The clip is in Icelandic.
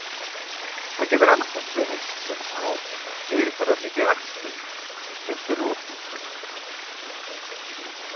Það getur annaðhvort verið sem sár eða fyrirferðarmikið æxli, sem fyllir upp hluta af maganum.